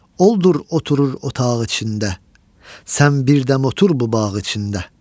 Oldur oturur otağ içində, sən bir dəm otur bu bağ içində.